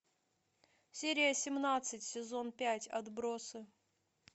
серия семнадцать сезон пять отбросы